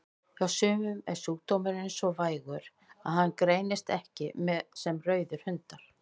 Hjá sumum er sjúkdómurinn svo vægur að hann greinist ekki sem rauðir hundar.